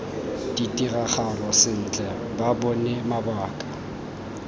ditiragalo sentle ba bone mabaka